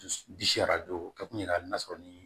Dusu o kɛ kun ye hali n'a sɔrɔ ni